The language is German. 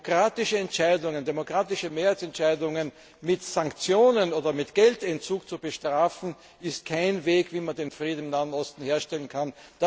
Demokratische Entscheidungen, demokratische Mehrheitsentscheidungen mit Sanktionen oder mit Geldentzug zu bestrafen, ist kein Weg, wie man den Frieden im Nahen Osten herstellen kann.